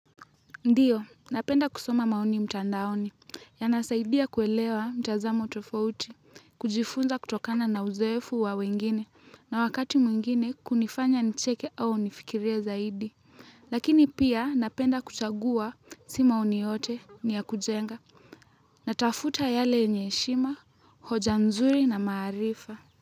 Ndio, napenda kusoma maoni mtandaoni, yanasaidia kuelewa mtazamo tofauti, kujifunza kutokana na uzoefu wa wengine, na wakati mwingine kunifanya nicheke au nifikirie zaidi lakini pia napenda kuchagua, si maoni yote ni ya kujenga. Natafuta yale yenye heshima, hoja nzuri na maarifa.